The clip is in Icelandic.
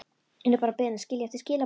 Yrði bara beðin að skilja eftir skilaboð.